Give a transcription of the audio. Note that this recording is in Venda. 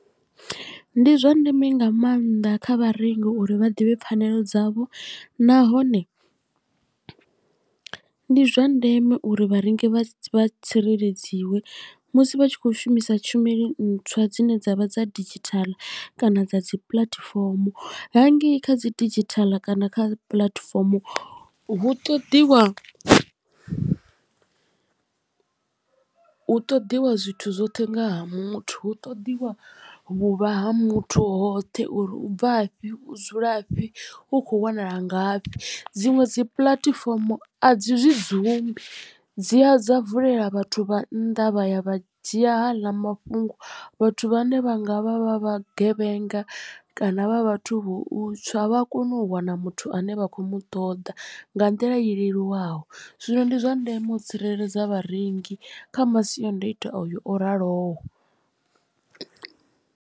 Ndi zwa ndeme nga maanḓa kha vharengi uri vha ḓivhe pfhanelo dzavho nahone ndi zwa ndeme uri vharengi vha tsireledziwa musi vha tshi kho shumisa tshumelo ntswa dzine dzavha dza didzhithala kana dza dzi puḽatifomo hangei kha dzi didzhithala kana kha puḽatifomo hu ṱoḓiwa. Hu ṱoḓiwa zwithu zwoṱhe nga ha muthu hu ṱoḓiwa vhuvha ha muthu hoṱhe uri u bvafhi u dzula fhi u kho wanala ngafhi dziṅwe dzi puḽatifomo a dzi zwi dzumbi dzi a dza vulela vhathu vha nnḓa vha ya vha dzhia haaḽa mafhungo vhathu vhane vha nga vha vha vhagevhenga kana vha vhathu vha u tswa vha a kona u wana muthu ane vha khou mu ṱoḓa nga nḓila i leluwaho zwino ndi zwa ndeme u tsireledza vharengi kha masiandoitwa ayo o raloho.